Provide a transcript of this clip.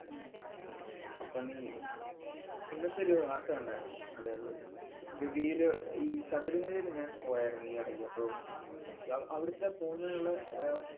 ഉം അപ്പം നീ ഇന്നത്തെ ഒരു വാര്‍ത്ത കണ്ടാരുന്നോ? അതായത് ഗവിയില് ഈ ശബരിമലേല് ഞാന്‍ പോയാരുന്നു ഈയെടയ്ക്ക്. അപ്പൊ യ~ അവിടത്തെ പോകുന്നതിനുള്ള അഹ്